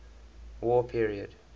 war period